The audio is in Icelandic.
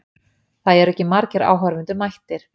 Það eru ekki margir áhorfendur mættir.